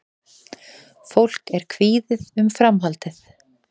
Fólk er kvíðið um framhaldið